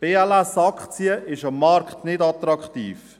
Die BLS-Aktie ist am Markt nicht attraktiv.